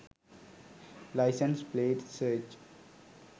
license plate search